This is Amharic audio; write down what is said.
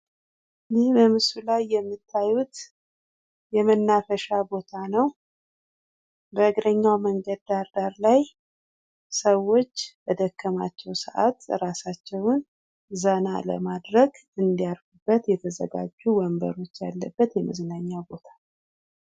ይህ በምስሉ ላይ የምታዩት የመናፈሻ ቦታ ነው። በእግረኛው መንገድ ዳር ዳር ላይ ሰዎች በደከማቸው ሰአት ራሳቸውን ዘና ለማድረግ እንዳርፉበት የተዘጋጁ ወንበሮች ያለበት የመዝናኛ ቦታ ነው።